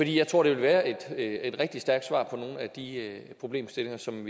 jeg tror det vil være et rigtig stærkt svar på nogle af de problemstillinger som